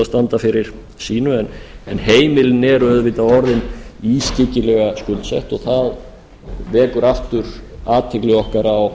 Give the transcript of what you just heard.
standa fyrir sínu en heimilin eru auðvitað orðin ískyggilega skuldsett og það vekur aftur athygli okkar á